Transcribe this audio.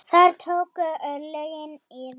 Þar tóku örlögin yfir.